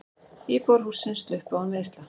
Íbúar hússins sluppu án meiðsla.